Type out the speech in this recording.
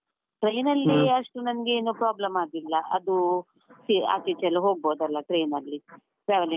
Train ಅಲ್ಲಿ ನಂಗೆನು problem ಆಗಿಲ್ಲ ಅದೂ see ಆಚೆ ಈಚೆ ಎಲ್ಲ ಹೋಗ್ಬಹುದಲ್ಲ train ಅಲ್ಲಿ traveling .